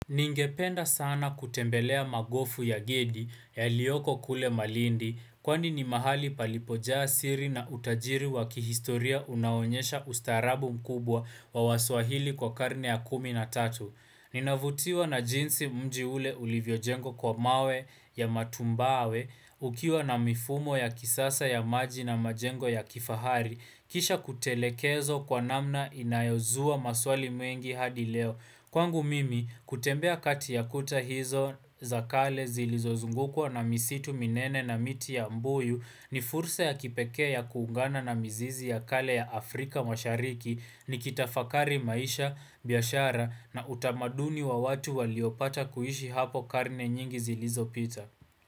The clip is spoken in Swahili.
Ningependa sana kutembelea magofu ya gedi yaliyoko kule malindi, kwani ni mahali palipojaa siri na utajiri wakihistoria unaonyesha ustaarabu mkubwa wa waswahili kwa karne ya kumi na tatu. Ninavutiwa na jinsi mji ule ulivyo jengwa kwa mawe ya matumbawe, ukiwa na mifumo ya kisasa ya maji na majengo ya kifahari, kisha kutelekezwa kwa namna inayozua maswali mengi hadi leo. Kwangu mimi, kutembea kati ya kuta hizo za kale zilizozungukwa na misitu minene na miti ya mbuyu ni fursa ya kipekee ya kuungana na mzizi ya kale ya Afrika mashariki ni kitafakari maisha biashara na utamaduni wa watu waliopata kuishi hapo karne nyingi zilizopita.